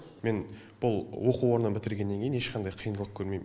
мен бұл оқу орнын бітіргеннен кейін ешқандай қиындылық көрмеймін